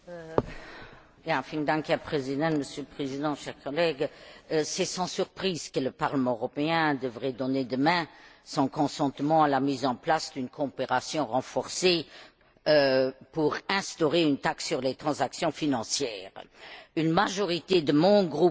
Monsieur le Président, chers collègues, c'est sans surprise que le Parlement européen devrait donner demain son consentement à la mise en place d'une coopération renforcée pour instaurer une taxe sur les transactions financières. Une majorité de mon groupe soutiendra cette démarche,